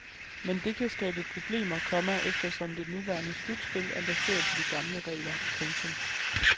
Men det kan skabe problemer, komma eftersom det nuværende slutspil er baseret på de gamle regler. punktum